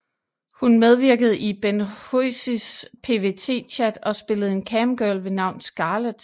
Hun medvirkede i Ben Hozies PVT Chat og spillede en camgirl ved navn Scarlet